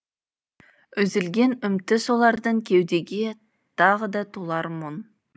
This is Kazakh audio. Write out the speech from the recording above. үзілген үміті солардың кеудеге тағы да толар мұң